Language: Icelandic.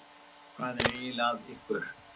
Hvað er eiginlega að ykkur?